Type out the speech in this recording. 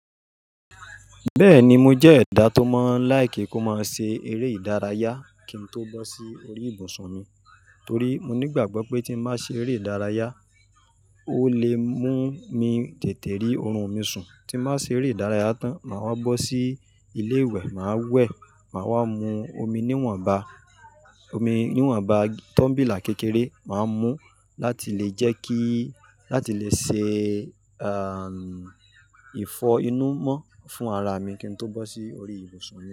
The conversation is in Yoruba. Bẹ́ẹ̀ni mo jẹ́ ẹ̀dá tó mọ́ láì kí kó má ṣe eré ìdárayá kí n tó bọ́ sí orí ìbùsùn mi, torí mo nígbàgbọ́ pé tí má ṣe eré ìdárayá, ó lè mú mi tètè rí oorun mi sùn. Tí n ba ṣe eré ìdárayá tán, màá wá bọ́ sí ilé ìwẹ̀, màá wẹ̀, màá wá mu omi níwọ̀nba, omi níwọ̀nba tọ́mbìlà kékeré, màá mú láti lè jẹ́ kí, láti lè ṣe, àn, ìfọ inú mọ́ fún ara mi kí n tó bọ́ sí orí ìbùsùn mi.